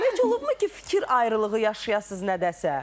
Günel xanım, heç olubmu ki, fikir ayrılığı yaşayasız nədəsə?